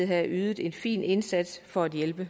havde ydet en fin indsats for at hjælpe